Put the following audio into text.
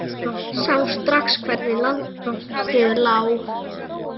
Sá strax hvernig landið lá.